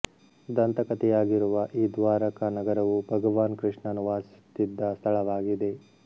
ದಂತಕಥೆಯಾಗಿರುವ ಈ ದ್ವಾರಕಾ ನಗರವು ಭಗವಾನ್ ಕೃಷ್ಣನು ವಾಸಿಸುತ್ತಿದ್ದ ಸ್ಥಳವಾಗಿದೆ